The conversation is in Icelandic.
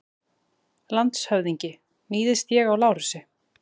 LANDSHÖFÐINGI: Níðist ég á Lárusi?